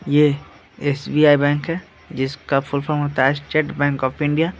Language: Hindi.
ये एस.बी.आई. बैंक है जिसका फुल फॉर्म होता है स्टेट बैंक ऑफ इंडिया .